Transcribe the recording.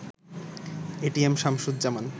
ATM Shamsuzzaman